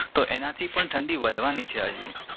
તો એના થી પણ ઠંડી વધવાની છે હજી